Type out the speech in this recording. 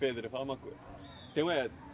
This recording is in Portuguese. Pedro, fala uma coisa. Teu é